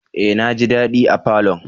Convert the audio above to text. Eh! Naji dadi a falon.